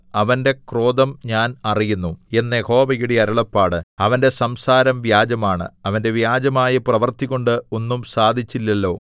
അവന്റെ ക്രോധം ഞാൻ അറിയുന്നു എന്ന് യഹോവയുടെ അരുളപ്പാട് അവന്റെ സംസാരം വ്യാജമാണ് അവന്റെ വ്യാജമായ പ്രവൃത്തികൊണ്ട് ഒന്നും സാധിച്ചില്ലല്ലോ